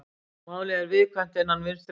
Málið er viðkvæmt innan Vinstri grænna